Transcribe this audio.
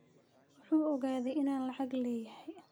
Wuxuu oogadhey inan lacag leyhy.